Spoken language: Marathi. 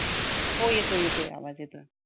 हो येतोय येतोय आवाज येतोय